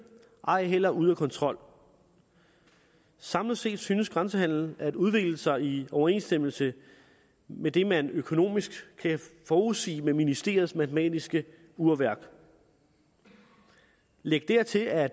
ej heller er ude af kontrol samlet set synes grænsehandelen at udvikle sig i overensstemmelse med det man økonomisk kan forudsige med ministeriets matematiske urværk læg dertil at